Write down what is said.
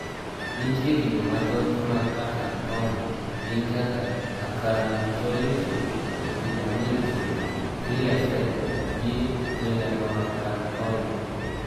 Nitiere kido mathotmag acanthoma, gin kaka "acantholytic", "epidermolytic", "clear cell", gi "melanoacanthoma".